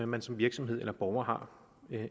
man som virksomhed eller borger har